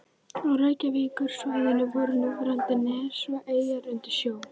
Á Reykjavíkursvæðinu voru núverandi nes og eyjar undir sjó.